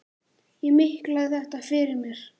Ég miklaði þetta fyrir mér.